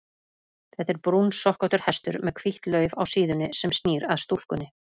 Þetta er brúnsokkóttur hestur með hvítt lauf á síðunni, sem snýr að stúlkunni.